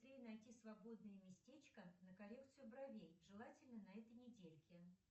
найти свободное местечко на коррекцию бровей желательно на этой недельке